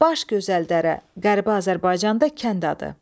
Baş gözəl dərə, Qərbi Azərbaycanda kənd adı.